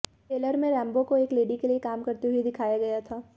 trailer में Rambo को एक लेडी के लिए काम करते हुए दिखाया गया है